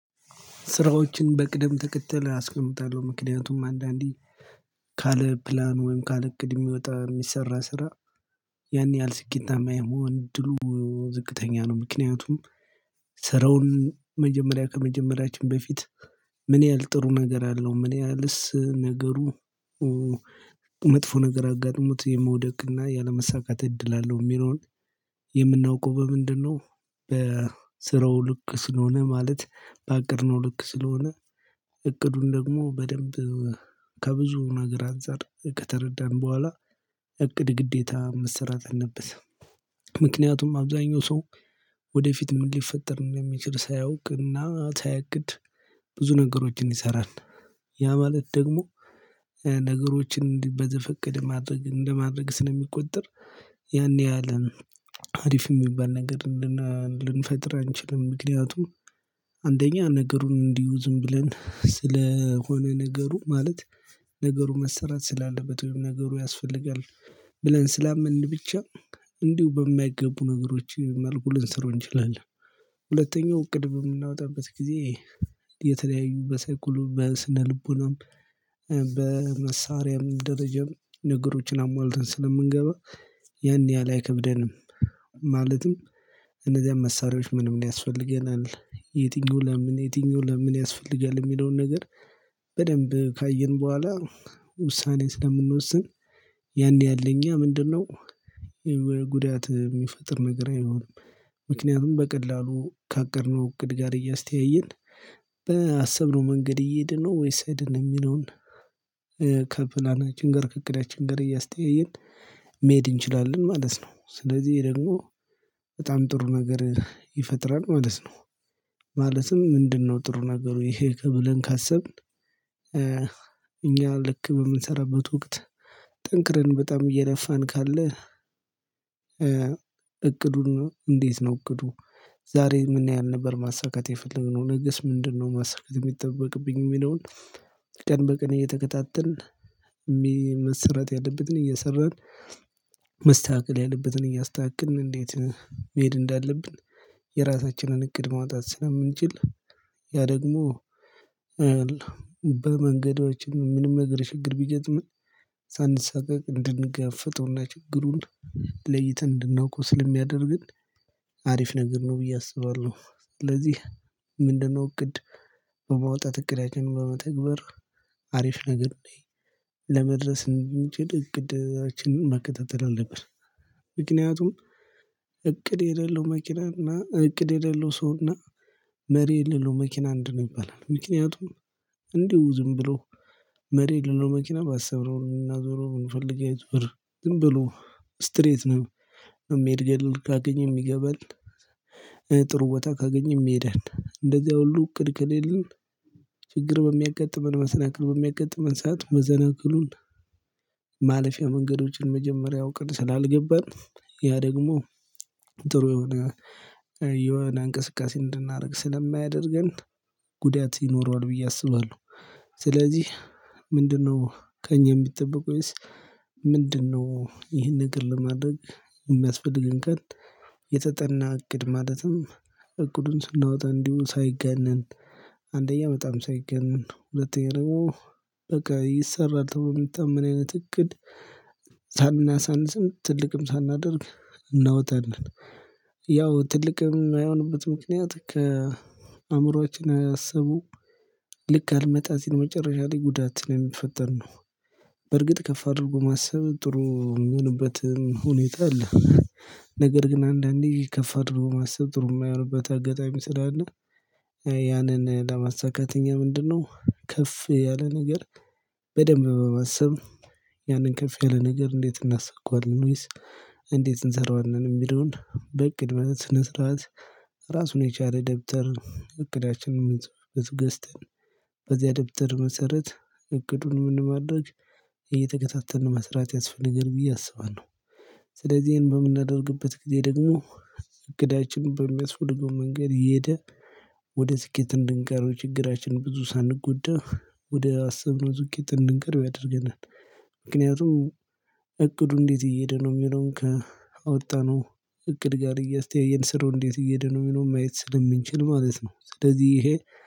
ስራዎችን በቅደም ተከተል አስቀምጣለሁ ምክንያቱም አንዳንዴ ካለ ፕላን ወይም ካለ እቅድ የሚወጣ የሚሰራ ስራ ያን ያህል ስኬታማ የመሆን እድሉ ዝቅተኛ ነው። ምክንያቱም ስራውን መጀመሪያ ከመጀመሪያችን በፊት። ምን ያህል ጥሩ ነገር አለው ምን ያህልስ ነገሩ መጥፎ ነገር አጋጥሞት የመውደቅና ያለመሳካት እድል አለው የሚለውን የምናውቀው በምንድነው? በስራው ልክ ስለሆነ ማለት በአቀድነው ልክ ስለሆነ። እቅዱን ደግሞ በደንብ ከብዙ ነገር አንፃር ከተረዳን በኋላ እቅድ ግዴታ መሰራት አለበት። ምክንያቱም አብዛኛው ሰው ወደፊት ምን ሊፈጠር እንደሚችል ሳያውቅና ሳያቅድ ብዙ ነገሮችን ይሰራል። ያ ማለት ደግሞ ነገሮችን በዘፈቀድ ማድረግ እንደማድረግ ስለሚቆጠር። ያኔ ያለ አሪፍ የሚባል ነገር ልንፈጥር አንችልም ምክንያቱም። አንደኛ ነገሩን እንዲሁ ዝም ብለን ስለሆነ ነገሩ ማለት ነገሩ መሰራት ስላለበት ወይም ነገሩ ያስፈልጋል ብለን ስላመንን ብቻ እንዲሁ በማይገቡ ነገሮች መልኩ ልንሰራው እንችላለን። ሁለተኛው እቅድ የምናወጣበት ጊዜ የተለያዩ በሰአት ቁልፍ በስነ ልቦናም በመሳሪያም ደረጃም ነገሮችን አሟልተን ስለምንገባ ያን ያህል አይከብደንም። ማለትም እነዚያን መሳሪያዎች በደንብ ያስፈልገናል የትኛው ለምን የትኛው ለምን ያስፈልጋል የሚለውን ነገር በደንብ ካየን በኋላ ውሳኔን ስለምንወስን። ያን ያለ እኛ ምንድነው? የሚወርድ ጉዳት የሚፈጥር ነገር አይሆንም። ምክንያቱም በቀላሉ ከአቀድነው እቅድ ጋር እያስተያየን በአሰብነው መንገድ እየሄድን ነው ወይስ አይደለም የሚለውን ከፕላናች ከዕቅዳችን ጋራ እያስተያየን መሄድ እንችላለን ማለት ነው። ስለዚህ ደግሞ በጣም ጥሩ ነገር ይፈጥራል ማለት ነው። ማለትም ምንድነው ጥሩ ነገሩ ይሄ ብለን ካሰብን። እኛ ልክ በምንሰራበት ወቅት ጠንክረን በጣም እየለፋን ካለ እቅዱን እንዴት ነው እቅዱ ዛሬ ምን ያህል ነበር ማሳካት የፈለግነው ነገስ ምንድነው ማሳካት የሚጠበቅብኝ የሚለውን። ቀን በቀን እየተከታተልን መሰራት ያለበትን እየሰራን መስተካከል ያለበትን እያስተካከልን እንዴት መሄድ እንዳለብን የራሳችንን እቅድ ማውጣት ስለምንችል። ያ ደግሞ በመንገዳችን ምንም ነገር ችግር ቢገጥመን ሳንሰቃቅ እንድንጋፍጥና ችግሩን ለይተን እንድናውቅ ስለሚያደርግን። አሪፍ ነገር ነው ብዬ አስባለሁ ስለዚህ። ምንድነው እቅድ በማውጣት እቅዳችን በመተግበር አሪፍ ነገር ላይ ለመድረስ እንድንችል እቅዳችንን መከታተል አለብህ። ምክንያቱም እቅድ የሌለው መኪና እና እቅድ የሌለው ሰው እና መሪ የሌለው መኪና እንድ ነው ይባላል። ምክንያቱም እንዲሁ ዝም ብሎ መሬ ልሎ መኪና ባሰብነው ምናዞረው የምንፈልግ ዝም ብሎ ስትሬት ነው የሚሄድ ገደል ካገኘም ይገባል። ጥሩ ቦታ ካገኘመ ይሄዳል እንደዚያ ሁሉ እቅድ ከሌለን። ችግር በሚያጋጥመን መሰናክል በሚያጋጥመን ሰዓት መሰናክሉን ማለፊያ መንገዶችን መጀመሪያው ቀን ስላልገባን ያ ደግሞ ጥሩ የሆነ የሆነ እንቅስቃሴ እንድናደርግ ስለማያደርገን። ጉዳት ይኖረዋል ብዬ አስባለሁ። ስለዚህ ምንድነው ከእኛ የሚጠብቀው ወይስ? ምንድነው ይህን ነገር ለማድረግ የሚያስፈልገን ካልን። የተጠና እቅድ ማለትም እቅዱን ስናወጣ እንዲሁ ሳይጋነን አንደኛ በጣም ሳይጋነን ሁለተኛ ደግሞ በቃ ይሰራል ተብሎ የሚታመን አይነት እቅድ ሳናሳንስም ትልቅም ሳናደርግ እናወጣለን። ያው ትልቅም የማይሆንበት ምክንያት ከአእምሮአችን አስቡ ልክ አልመጣ ሲል መጨረሻ ላይ ጉዳት ነው የሚፈጠር ነው። በርግጥ ከፍ አድርጎ ማሰብ ጥሩ የምንሆንበትን ሁኔታ አለ። ነገር ግን አንዳንዴ ከፈ አድርጎ ማሰብ ጥሩ የማይሆንበት አጋጣሚ ስላለ። ያንን ለማሳካት እኛ ምንድነው ከፍ ያለ ነገር በደንብ በማሰብ ያንን ከፍ ያለ ነገር እንዴት እናስካዋለን? ወይስ እንዴት እንሰራዋለን የሚለውን በእቅድ ስነ ስርዓት። ራሱን የቻለ ደብተር እቅዳችን የምንጽፍበት ገዝተን ደብተር መሰረት እቅዱን ምን ማድረግ እየተከታተልን መስራት ያስፈልገን ብዬ አስባለሁ። ስለዚህ ይሄን በምናደርግበት ጊዜ ደግሞ እቅዳችን በሚያስፈልገው መንገድ እየሄደ ወደ ስኬት እንድንቀይረው ችግራችን ብዙ ሳንጎዳው ወደ አስብነው ስኬት እንድንቀረብ ያደርገናል። ምክንያቱም እቅዱ እንዴት እየሄደ ነው የሚለውን ከአወጣነው እቅድ ጋር እያስተያየን ስራው እንዴት እየሄደ ነው የሚለውን ማየት ስለምንችል ማለት ነው። ስለዚህ ይሄ